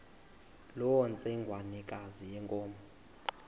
loo ntsengwanekazi yenkomo